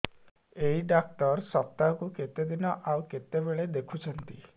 ଏଇ ଡ଼ାକ୍ତର ସପ୍ତାହକୁ କେତେଦିନ ଆଉ କେତେବେଳେ ଦେଖୁଛନ୍ତି